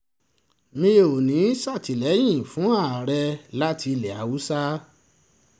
mi ò ní í ṣàtìlẹ́yìn fún ààrẹ láti ilẹ̀ haúsálẹ́